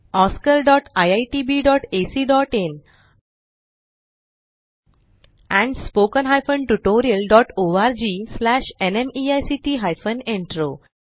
oscariitbacइन and spoken tutorialorgnmeict intro